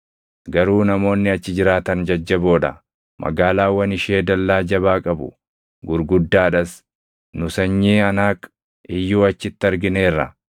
Garuu namoonni achi jiraatan jajjaboo dha; magaalaawwan ishee dallaa jabaa qabu; gurguddaa dhas. Nu sanyii Anaaq iyyuu achitti argineerra.